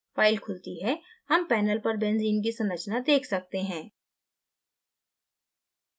file खुलती है हम panel पर benzene की संरचना देख सकते हैं